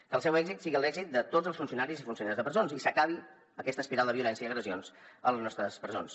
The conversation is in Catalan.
que el seu èxit sigui l’èxit de tots els funcionaris i funcionàries de presons i s’acabi aquesta espiral de violència i agressions a les nostres presons